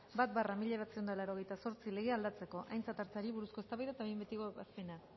bat barra mila bederatziehun eta laurogeita zortzi legea aldatzeko aintzat hartzeari buruzko eztabaida eta behin betiko ebazpena